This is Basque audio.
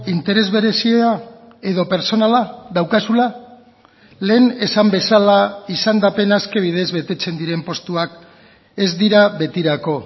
interes berezia edo pertsonala daukazula lehen esan bezala izendapena aske bidez betetzen diren postuak ez dira betirako